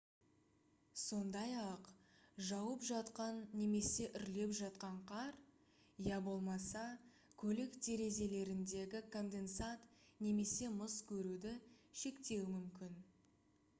сондай-ақ жауып жатқан немесе үрлеп жатқан қар я болмаса көлік терезелеріндегі конденсат немесе мұз көруді шектеуі мүмкін